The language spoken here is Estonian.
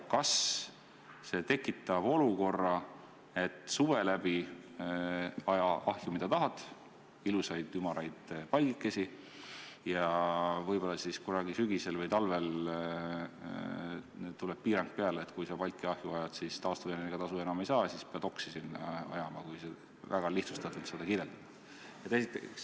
Kas see tekitab olukorra, et suve läbi aja ahju mida tahad, ilusaid ümaraid palgikesi, ja võib-olla kunagi sügisel või talvel tuleb piirang peale, et kui sa palki ahju ajad, siis taastuvenergia tasu enam ei saa, siis pead sinna oksi ajama, kui väga lihtsustatult seda kirjeldada?